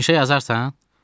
Yaxşı, inşa yazarsan?